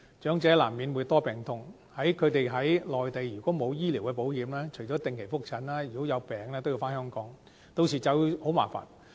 長者難免會多病痛，他們如果在內地沒有醫療保險，除了定期覆診，如果有病也要回港診治，屆時便會很麻煩。